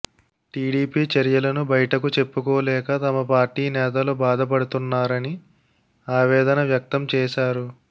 TDP చర్యలను బయటకు చెప్పుకోలేక తమ పార్టీ నేతలు బాధపడుతున్నారని ఆవేదన వ్యక్తం చేశారు